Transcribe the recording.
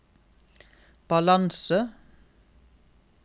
balanse